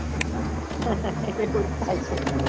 હા એવું જ થાય છે